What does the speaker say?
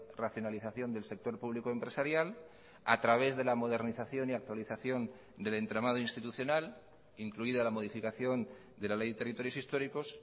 racionalización del sector público empresarial a través de la modernización y actualización del entramado institucional incluida la modificación de la ley de territorios históricos